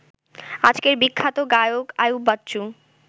আজকের বিখ্যাত গায়ক আইয়ুব বাচ্চু